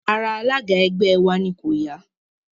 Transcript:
Ara alága ẹgbẹ́ ẹ wa ni kò ya